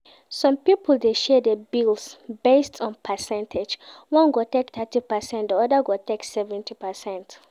Some pipo de share bills based on percentage one go take thirty percent di other go take 70%